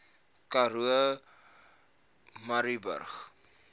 karoo murrayburg